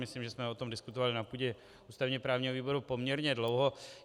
Myslím, že jsme o tom diskutovali na půdě ústavně právního výboru poměrně dlouho.